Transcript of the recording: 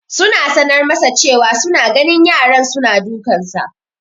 Suna sanar masa cewa su na ganin yaran su na dukansa